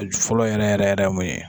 A ju fɔlɔ yɛrɛ yɛrɛ yɛrɛ ye mun ye?